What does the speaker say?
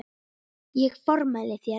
Ég formæli þér